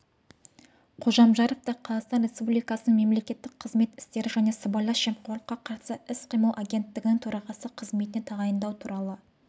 қожамжаровты қазақстан республикасының мемлекеттік қызмет істері және сыбайлас жемқорлыққа қарсы іс-қимыл агенттігінің төрағасы қызметіне тағайындау туралы